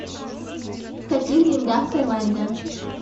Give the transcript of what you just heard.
в каких деньгах в тайланде